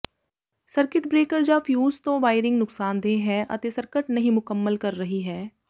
circuit breaker ਜਾਂ fuse ਤੋਂ wiring ਨੁਕਸਾਨਦੇਹ ਹੈ ਅਤੇ ਸਰਕਟ ਨਹੀਂ ਮੁਕੰਮਲ ਕਰ ਰਹੀ ਹੈ